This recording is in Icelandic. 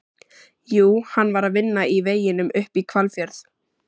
Jú, hann var að vinna í veginum upp í Hvalfjörð.